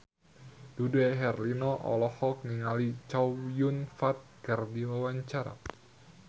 Dude Herlino olohok ningali Chow Yun Fat keur diwawancara